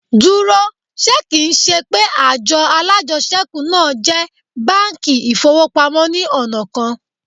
Dúró, ṣe kì ń ṣe pé àjọ alájẹṣẹ́kù náà jẹ́ báńkì ìfowópamọ́ ní ọ̀nà kan?